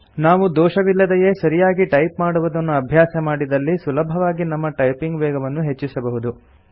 ನಾವು ದೋಷವಿಲ್ಲದೇ ಸರಿಯಾಗಿ ಟೈಪ್ ಮಾಡುವುದನ್ನು ಅಭ್ಯಾಸಮಾಡಿದಲ್ಲಿ ಸುಲಭವಾಗಿ ನಮ್ಮ ಟೈಪಿಂಗ್ ವೇಗವನ್ನು ಹೆಚ್ಚಿಸಬಹುದು